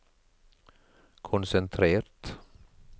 konsentrert